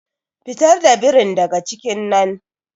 Fitar da birin daga cikin nan.